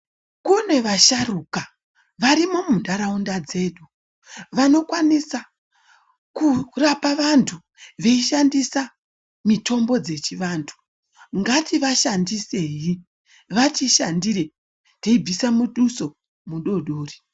Kune vasharuka varimo mu ndaraunda dzedu vano kwanisa kurapa vantu vei shandisa mitombo dzechi vantu ngati vashandi sei vati shandire tei bvisa mutuso mudodori.